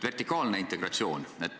Vertikaalne integratsioon.